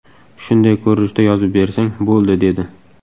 Shunday ko‘rinishda yozib bersang, bo‘ldi”, dedi.